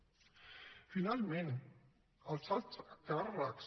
finalment els alts càrrecs